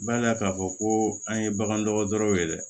Bala k'a fɔ ko an ye bagan dɔgɔtɔrɔw ye dɛ